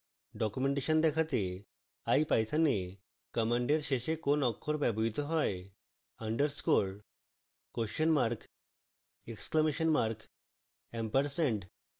documentation দেখাতে ipython a command শেষে কোন অক্ষর ব্যবহৃত হয়